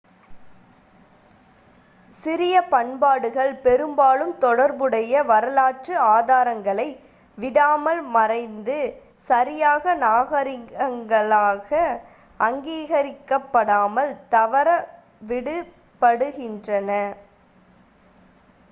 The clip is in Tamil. சிறிய பண்பாடுகள் பெரும்பாலும் தொடர்புடைய வரலாற்று ஆதாரங்களை விடாமல் மறைந்து சரியான நாகரிகங்களாக அங்கீகரிக்கப்படாமல் தவறவிடப்படுகின்றன